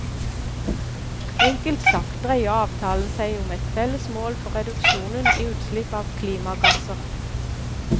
Enkelt sagt dreier avtalen seg om et felles mål for reduksjonen i utslipp av klimagasser.